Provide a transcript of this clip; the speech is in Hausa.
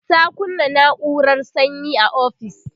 ta kunna naurar sanyi a ofis